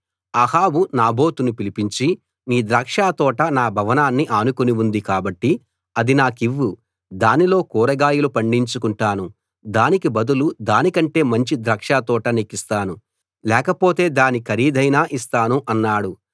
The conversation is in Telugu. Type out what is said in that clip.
అహాబు నాబోతును పిలిపించి నీ ద్రాక్షతోట నా భవనాన్ని ఆనుకుని ఉంది కాబట్టి అది నాకివ్వు దానిలో కూరగాయలు పండించుకుంటాను దానికి బదులు దాని కంటే మంచి ద్రాక్షతోట నీకిస్తాను లేకపోతే దాని ఖరీదైనా ఇస్తాను అన్నాడు